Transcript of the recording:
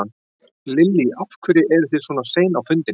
Lillý: Af hverju eru þið svona sein á fundin?